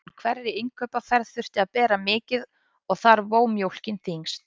Úr hverri innkaupaferð þurfti að bera mikið og þar vó mjólkin þyngst.